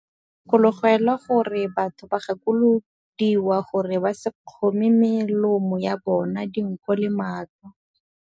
Gakologelwa gore batho ba gakolodiwa gore ba se kgome melomo ya bona, dinko le matlho.